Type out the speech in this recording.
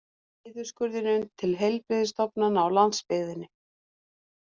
Niðurskurðinum til heilbrigðisstofnananna á landsbyggðinni